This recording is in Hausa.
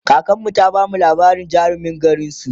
kakanmu ta bamu labarin jarumin garinsu